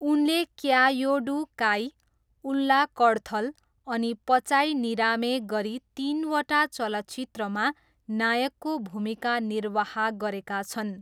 उनले क्यायोडू काई, उल्ला कडथल अनि पचाई निरामे गरी तिनवटा चलचित्रमा नायकको भूमिका निर्वाह गरेका छन्।